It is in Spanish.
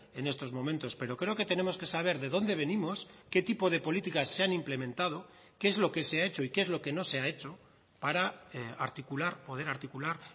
en estos momentos pero creo que tenemos que saber de dónde venimos qué tipo de políticas se han implementado qué es lo que se ha hecho y qué es lo que no se ha hecho para articular poder articular